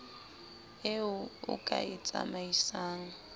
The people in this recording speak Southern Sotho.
eo o ka e tsamaisang